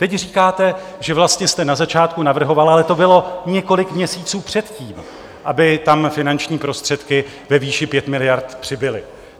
Teď říkáte, že vlastně jste na začátku navrhoval, ale to bylo několik měsíců předtím, aby tam finanční prostředky ve výši 5 miliard přibyly.